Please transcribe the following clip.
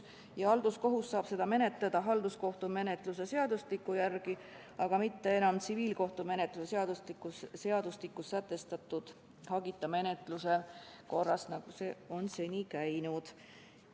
Ja halduskohus saab seda menetleda halduskohtumenetluse seadustiku järgi, aga mitte enam tsiviilkohtumenetluse seadustikus sätestatud hagita menetluse korras, nagu see on seni käinud.